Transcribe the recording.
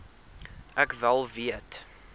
ek wel weet